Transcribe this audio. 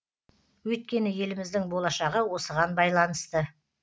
өйткені еліміздің болашағы осыған байланысты